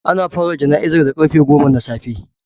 Ana fara jana'izar da karfe goma na safe